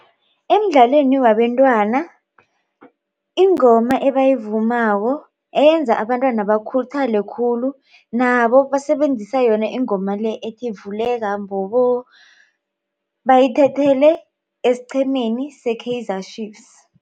Emdlalweni wabantwana ingoma ebayivumako eyenza abantwana bakhuthale khulu nabo basebenzisa yona ingoma le ethi, vuleka mbobo bayithathele esiqhemeni se-Kaizer Chiefs